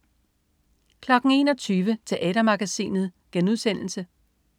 21.00 Teatermagasinet*